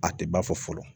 A tɛ ba fɔ fɔlɔ